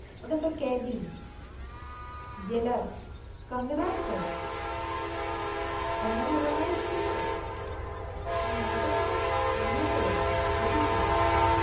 ওটা তো কেয়াদি jailer কঙ্গনার তো কঙ্গনা রানাওত ছিল তো ওটা তো ইয়ে তে হয়েছিল OTT platform এ